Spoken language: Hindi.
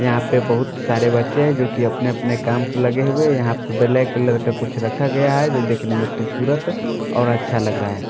यहाँ पे बहुत सारे बच्चे हैं जो कि अपने अपने काम प लगे हुए यहां पर ब्लैक कलर का कुछ रखा गया है जो देखने में खूबसूरत और अच्छा लग रहा है।